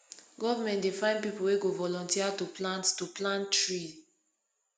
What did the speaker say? government dey find pipu wey go volunteer to plant to plant tree